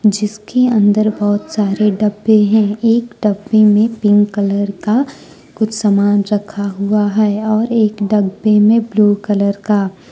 जिसके अंदर बहुत सारे डब्बे हैं एक डब्बे में पिंक कलर का कुछ सामान रखा हुआ है और एक डब्बे में ब्लू कलर का --